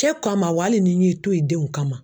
Cɛ kama wa hali ni n y'i to ye denw kama